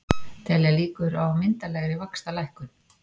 Telja líkur á myndarlegri vaxtalækkun